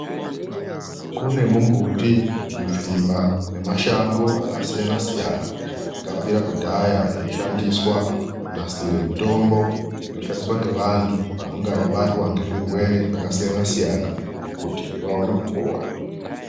Kune mumbuti zvipfiba nemashango zvakasiyana siyana akabvira kudhaya eishandiswa kunasira mitombo inozoshandiswa ngevantu vanonga vabatwa ngezvirwere zvakasiyana siyana kuti vaone kupora .